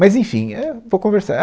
Mas, enfim, éh, vou conversar.